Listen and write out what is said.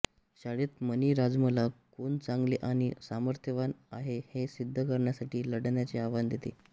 शाळेत मणी राजमला कोण चांगले आणि सामर्थ्यवान आहे हे सिद्ध करण्यासाठी लढण्याचे आव्हान देते